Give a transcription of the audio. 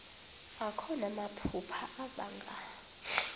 akho namaphupha abanga